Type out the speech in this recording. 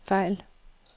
fejl